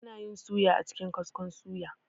Anayin suya a cikin kaskon suya